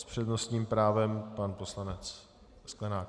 S přednostním právem pan poslanec Sklenák.